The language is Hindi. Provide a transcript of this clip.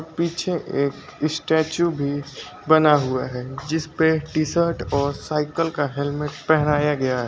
पीछे एक स्टैचू भी बना हुआ है जिसपे टी शर्ट और साइकल का हेलमेट पहनाया गया है।